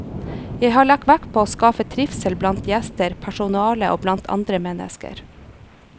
Jeg har lagt vekt på å skape trivsel blant gjester, personale og blant andre mennesker.